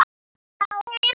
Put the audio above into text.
Já, heyrðu.